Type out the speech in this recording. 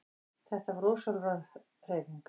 Þetta er ósjálfráð hreyfing.